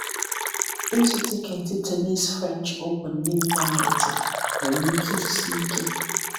Ịzụ Tiketi Tennis French Open n’ịntanetị nwere ike isi ike.